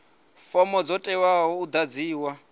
fomo dzo teaho u ḓadziwa